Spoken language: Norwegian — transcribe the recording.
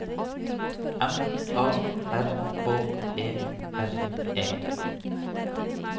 M A R K E R E